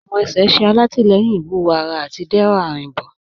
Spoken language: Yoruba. Awọn ẹ̀ṣẹ̀ ṣẹ̀ àtilẹ̀yìn iwúwọ̀ ará àti dẹrọ arínbo.